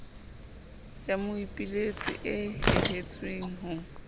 ya moipiletsi e nehetsweng ho